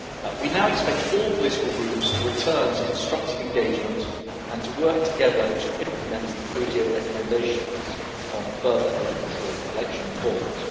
We now expect all political groups to return to constructive engagement and to work together to implement the ODIHR recommendations on further election reforms.